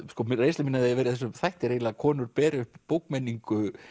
reynsla mín af því að vera í þessum þætti er eiginlega að konur beri uppi bókmenningu